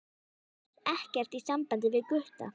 Það er ekkert í sambandi við Gutta.